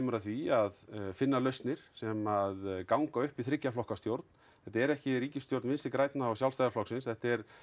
að því að finna lausnir sem ganga upp í þriggja flokka stjórn þetta er ekki ríkisstjórn Vinstri grænna og Sjálfstæðisflokksins þetta er